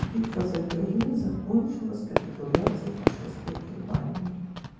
битва за берлин закончилась капитуляции фашистской германии